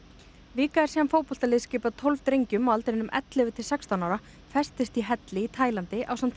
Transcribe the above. vika er síðan fótboltalið skipað tólf drengjum á aldrinum ellefu til sextán ára festist í helli í Taílandi ásamt